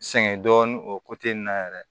Sɛŋɛ dɔɔnin o na yɛrɛ